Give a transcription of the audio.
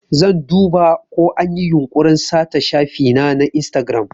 Zan duba ko anyi yunkurin sata shafina na Instagram.